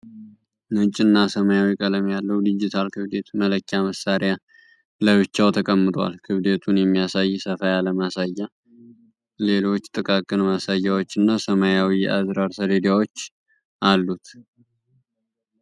ነጭ እና ሰማያዊ ቀለም ያለው ዲጂታል ክብደት መለኪያ መሳሪያ ለብቻው ተቀምጧል። ክብደቱን የሚያሳይ ሰፋ ያለ ማሳያ፣ ሌሎች ጥቃቅን ማሳያዎች እና ሰማያዊ የአዝራር ሰሌዳዎች አሉት።